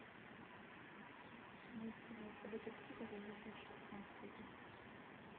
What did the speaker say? найди пожалуйста детективы за две тысячи пятнадцатый год